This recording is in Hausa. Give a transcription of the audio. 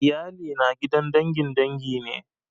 Iyali na gidan dangin dangi ne